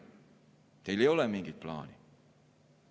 Teil ei ole mingit plaani.